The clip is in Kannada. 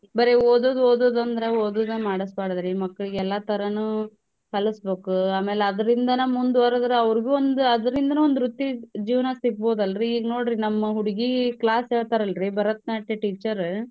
ಬರೆ ಓದೋದ್ ಓದೋದಂದ್ರೆ ಓದೋದ ಮಾಡ್ಸ್ಬಾಡ್ದ್ರಿ ಮಕ್ಳಿಗ್ ಎಲ್ಲಾ ತರಾನೂ ಕಲಸ್ಬಕೂ ಆಮೇಲ್ ಅದ್ರಿಂದನ ಮುಂದ್ವರ್ದ್ರ ಅವ್ರ್ಗೂ ಒಂದ್ ಅದ್ರಿಂದನು ವೃತ್ತಿ ಜೀವ್ನ ಸಿಗ್ಬೌದಲ್ರಿ ಈಗ್ ನೋಡ್ರಿ ನಮ್ ಹುಡಗೀ class ಹೇಳ್ತಾರಲ್ರಿ ಭರತ್ನಾಟ್ಯ teacher .